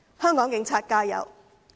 香港警員加油！